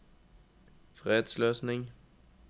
fredsløsning